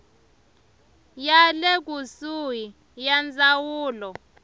ya le kusuhi ya ndzawulo